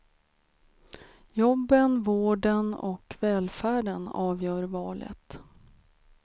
Jobben, vården och välfärden avgör valet.